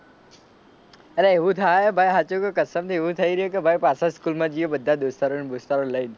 અરે એવું થાય હે ભાઈ સાચું કવ કસમ થી એવું થઈ રહ્યું કે ભાઈ પાછો સ્કૂલ માં જઈએ બધા દોસ્તારો ને બોસ્તારો ને લઈ ને.